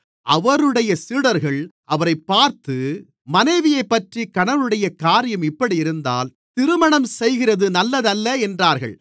அவருடைய சீடர்கள் அவரைப் பார்த்து மனைவியைப்பற்றி கணவனுடைய காரியம் இப்படியிருந்தால் திருமணம்செய்கிறது நல்லதல்ல என்றார்கள்